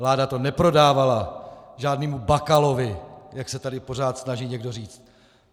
Vláda to neprodávala žádnému Bakalovi, jak se tady pořád snaží někdo říct.